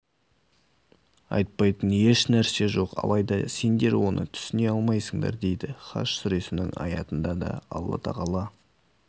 айтпайтын ешнәрсе жоқ алайда сендер оны түсіне алмайсыңдар дейді хаж сүресінің аятында да алла тағала